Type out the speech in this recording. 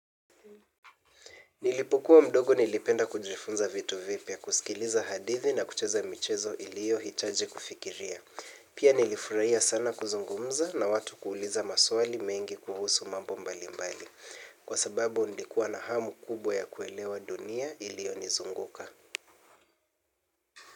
Nilipokuwa mdogo nilipenda kujifunza vitu vipya, kusikiliza hadithi na kucheza michezo ilio hitaji kufikiria. Pia nilifurahia sana kuzungumza na watu kuuliza maswali mengi kuhusu mambo mbali mbali. Kwa sababu nilikuwa na hamu kubwa ya kuelewa dunia ilio nizunguka.